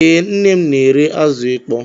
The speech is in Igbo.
Ee, nne m na-ere azụ ịkpọ